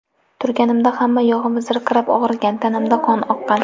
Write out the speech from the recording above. Turganimda hamma yog‘im zirqirab og‘rigan, tanamdan qon oqqan.